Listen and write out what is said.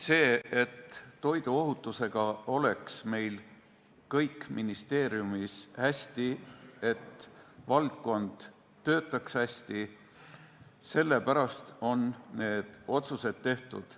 Selle jaoks, et toiduohutusega oleks meil ministeeriumis kõik hästi, et valdkond töötaks hästi, on need otsused tehtud.